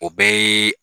O bɛɛ ye